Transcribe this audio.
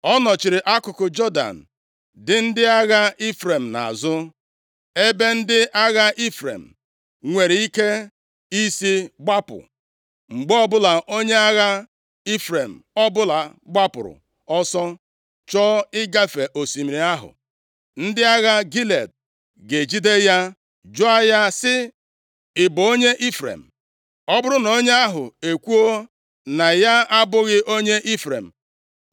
Ọ nọchiri akụkụ Jọdan dị ndị agha Ifrem nʼazụ, ebe ndị agha Ifrem nwere ike isi gbapụ. Mgbe ọbụla onye agha Ifrem ọbụla gbapụrụ ọsọ chọọ ịgafe osimiri ahụ, ndị agha Gilead ga-ejide ya jụọ ya sị, “Ị bụ onye Ifrem?” Ọ bụrụ na onye ahụ ekwuo na ya abụghị onye Ifrem,